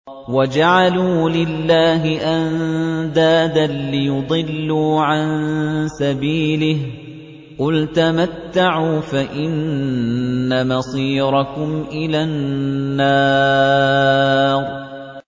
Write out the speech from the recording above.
وَجَعَلُوا لِلَّهِ أَندَادًا لِّيُضِلُّوا عَن سَبِيلِهِ ۗ قُلْ تَمَتَّعُوا فَإِنَّ مَصِيرَكُمْ إِلَى النَّارِ